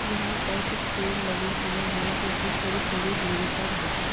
यहाँ पर कुछ पेड़ लगे हुए हैं जो कि थोड़ी-थोड़ी दूरी पर हैं।